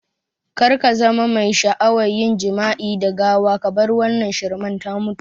Kar kazama mai sha'awa yin jima'i da gawa kabar wannan shirman ta mutu